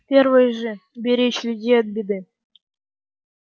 первый же беречь людей от беды